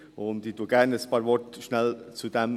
Ich sage gerne dazu noch kurz ein paar Worte.